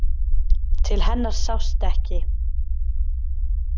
Til hennar sást ekki.